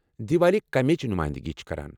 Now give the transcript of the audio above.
دیوالی کٔمِچ نُمٲیندگی چھِ کران؟